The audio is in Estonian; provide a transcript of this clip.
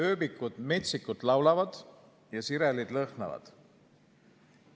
Ööbikud laulavad metsikult ja sirelid lõhnavad.